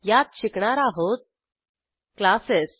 यात शिकणार आहोत क्लासेस